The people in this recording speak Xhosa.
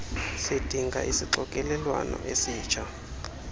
sidinga isixokelelwano esitsha